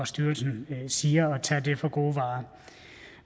styrelse siger og at tage det for gode varer